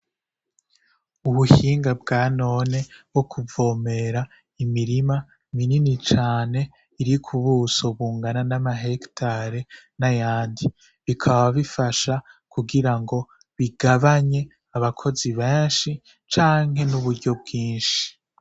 Ubuhinga bwanone bwo kuvomera imirima minini cane irikubuso bungana nama hegitare n'ayandi, bikaba bifasha kugira bigabanye abakozi benshi canke n'uburyo bwinshi.